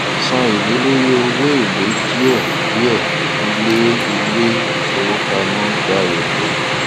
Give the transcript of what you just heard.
san ẹlé lórí owó èlé díẹ díẹ ilé ilé ìfowópamọ gba èlé